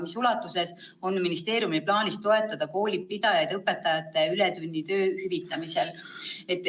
Mis ulatuses on ministeeriumil plaanis toetada koolipidajaid õpetajate ületunnitöö hüvitamisel?